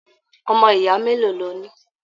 Ọmọ ìyá mélòó lọ ní?